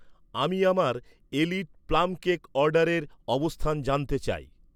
আমি আমার, Elite plum cake অর্ডারের অবস্থান জানতে চাই